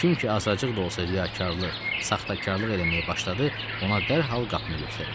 Kim ki azacıq da olsa riyakarlıq, saxtakarlıq eləməyə başladı, ona dərhal qapını göstərəcəm.